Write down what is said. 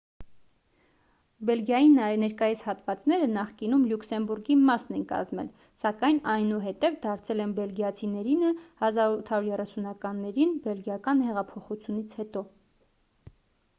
բելգիայի ներկայիս հատվածները նախկինում լյուքսեմբուրգի մասն են կազմել սակայն այնուհետև դարձել են բելիգիացիներինը 1830-ականներին բելգիական հեղափոխությունից հետո